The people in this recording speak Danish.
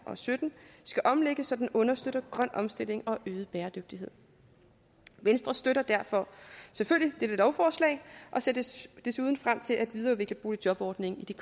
og sytten skal omlægges så den understøtter grøn omstilling og øget bæredygtighed venstre støtter derfor selvfølgelig dette lovforslag og ser desuden frem til at videreudvikle boligjobordningen i de